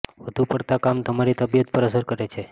વધુ પડતાં કામ તમારી તબિયત પર અસર કરે